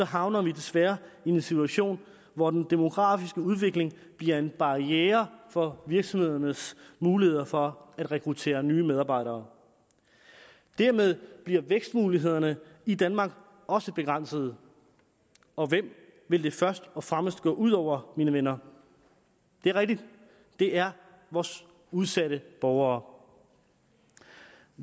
havner vi desværre i en situation hvor den demografiske udvikling bliver en barriere for virksomhedernes muligheder for at rekruttere nye medarbejdere dermed bliver vækstmulighederne i danmark også begrænsede og hvem vil det først og fremmest gå ud over venner det er rigtigt det er vores udsatte borgere